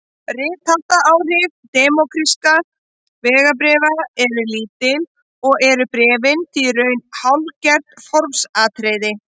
Réttaráhrif diplómatískra vegabréfa eru lítil og eru bréfin því í raun hálfgert formsatriði.